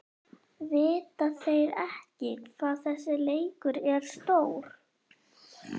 Vita þeir ekki hvað þessi leikur er stór?